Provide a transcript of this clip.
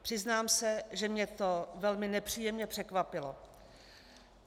Přiznám se, že mě to velmi nepříjemně překvapilo.